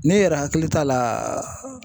Ne yɛrɛ hakili t'a laa